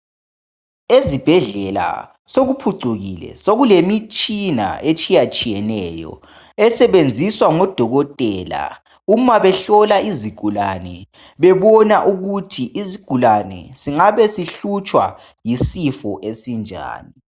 Ezibhedlela sekuphucukile sekulemitshina etshiyatshiyeneyo esebenziswa ngodokotela uma behlola izigulane bebona ukuthi isigulane singabe sihlutshwa yisifo esinjani.